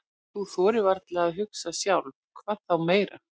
Þú þorir varla að hugsa sjálf, hvað þá meira.